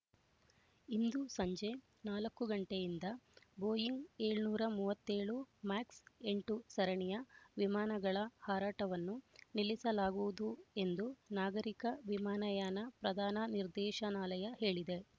ಇಂದು ಸಂಜೆ ನಾಲ್ಕು ಗಂಟೆಯಿಂದ ಬೋಯಿಂಗ್ ಏಳನೂರ ಮೂವತ್ತೆ ಳು ಮ್ಯಾಕ್ಸ್ ಎಂಟು ಸರಣಿಯ ವಿಮಾನಗಳ ಹಾರಾಟವನ್ನು ನಿಲ್ಲಿಸಲಾಗುವುದು ಎಂದು ನಾಗರಿಕ ವಿಮಾನಯಾನ ಪ್ರಧಾನ ನಿರ್ದೇಶನಾಲಯ ಹೇಳಿದೆ